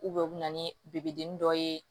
u bɛ na ni dɔ ye